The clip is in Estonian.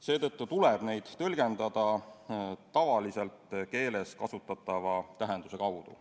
Seetõttu tuleb neid tõlgendada tavakeeles kasutatava tähenduse kaudu.